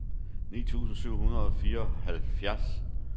ni tusind syv hundrede og fireoghalvfjerds